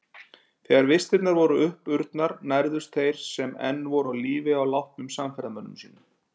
Þegar vistirnar voru uppurnar nærðust þeir sem enn voru á lífi á látnum samferðamönnum sínum.